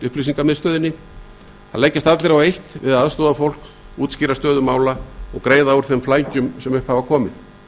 upplýsingamiðstöðinni það leggjast allir á eitt við að aðstoða fólk útskýra stöðu mála og greiða úr þeim flækjum sem upp hafa komið